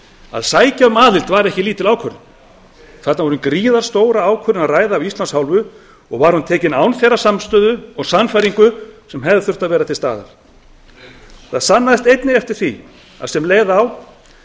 að sækja um aðild var ekki lítil ákvörðun þarna var um gríðarstóra ákvörðun að ræða af íslands hálfu og var hún tekin án þeirrar samstöðu og sannfæringar sem hefði þurft að vera til staðar það sannaðist einnig þegar leið á